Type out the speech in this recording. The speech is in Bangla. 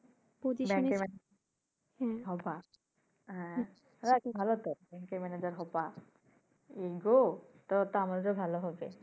ব্যাংকের ম্যানাজার হবা? হ্যাঁ যাক ভালো তো বাংকের ম্যানাজার হবা we will go তাহলেতো আমাদের জন্য ও ভালো হবে।